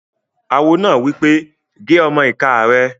Awo náà wí pé "gé ọmọ-ìká rẹ̀!"